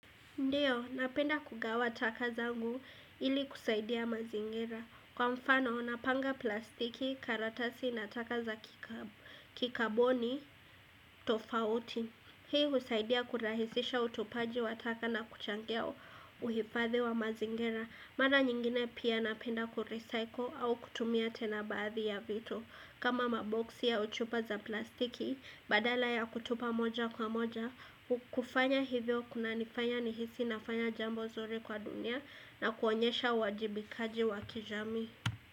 Ndiyo, napenda kugawa taka zangu ili kusaidia mazingira. Kwa mfano, napanga plastiki karatasi na taka za kikaboni tofauti. Hii husaidia kurahisisha utupaji wa taka na kuchangia uhifadhi wa mazingira. Mara nyingine pia napenda kurecycle au kutumia tena baadhi ya vitu. Kama maboksi au chupa za plastiki, badala ya kutupa moja kwa moja, kufanya hivyo kuna nifanya nihisi nafanya jambo zuri kwa dunia na kuonyesha uwajibikaji wa kijamii.